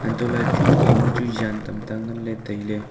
untohle chu ekawma chu jan tamta nganley tailey.